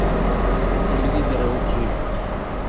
телевизор эл джи